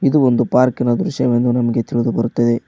ಇದು ಒಂದು ಪಾರ್ಕ್ ಇನ ದೃಶ್ಯವೆಂದು ನಮಗೆ ತಿಳಿದು ಬರುತ್ತವೆ.